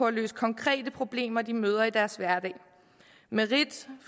at løse konkrete problemer de møder i deres hverdag merit